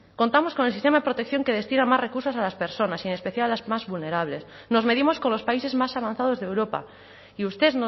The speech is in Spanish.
contamos con el sistema de protección que destina más recursos a las personas y en especial a las más vulnerables nos medimos con los países más avanzados de europa y usted